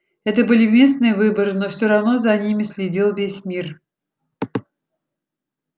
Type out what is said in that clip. это были местные выборы но все равно за ними следил весь мир